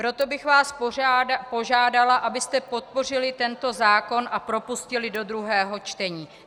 Proto bych vás požádala, abyste podpořili tento zákon a propustili do druhého čtení.